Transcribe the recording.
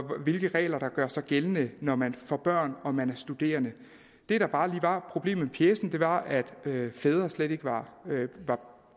hvilke regler der gør sig gældende når man får børn og man er studerende det der bare lige var problemet med pjecen var at fædre slet ikke var